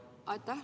Aitäh!